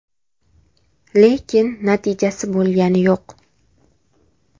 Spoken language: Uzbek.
Lekin natijasi bo‘lgani yo‘q.